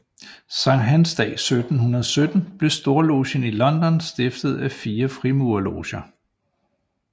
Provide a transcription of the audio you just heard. Sankthansdag 1717 blev storlogen i London stiftet af fire frimurerloger